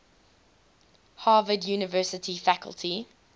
harvard university faculty